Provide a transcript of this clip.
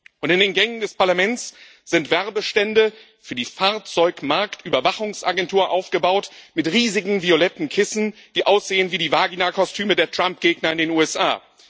Und in den Gängen des Parlaments sind Werbestände für die Fahrzeugmarktüberwachungsagentur aufgebaut mit riesigen violetten Kissen, die aussehen wie die Vagina Kostüme der Trump-Gegner in den USA.